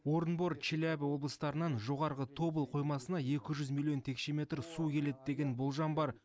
орынбор челябі облыстарынан жоғарғы тобыл қоймасына екі жүз миллион текше метр су келеді деген болжам бар